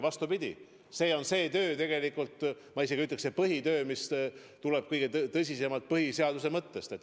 Vastupidi, see on, tegelikult ma isegi ütleksin, põhitöö, mis tuleneb kõige tõsisemalt põhiseaduse mõttest.